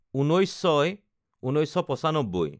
১৯/০৬/১৯৯৫